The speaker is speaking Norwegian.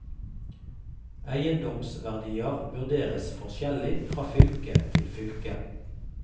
Eiendomsverdier vurderes forskjellig fra fylke til fylke.